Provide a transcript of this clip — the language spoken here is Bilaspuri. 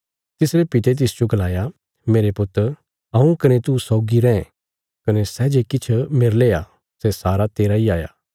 तिसरे पिता तिसजो गलाया मेरे पुत हऊँ कने तू सौगी रैं कने सै जे किछ मेरले आ सै सारा तेरा इ त हाया